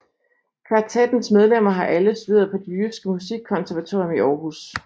Kvartettens medlemmer har alle studeret på Det Jyske Musikkonservatorium i Aarhus